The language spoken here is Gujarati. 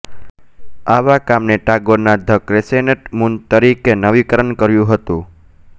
આવા કામને ટાગોરના ધ ક્રેસેન્ટ મૂન તરીકે નવીનકરણ કર્યું હતું